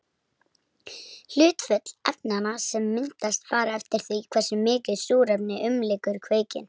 Hlutföll efnanna sem myndast fara eftir því hversu mikið súrefni umlykur kveikinn.